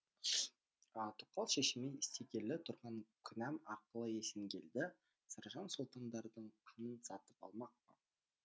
тоқал шешеме істегелі тұрған күнәм арқылы есенгелді саржан сұлтандардың қанын сатып алмақ па